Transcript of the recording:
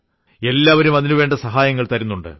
എല്ലാവരും അതിനുവേണ്ട സഹായങ്ങൾ തരുന്നുണ്ട്